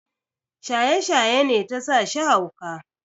Shaye-shaye ne ta sashi hauka.